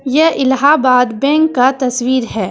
यह इलाहाबाद बैंक का तस्वीर है।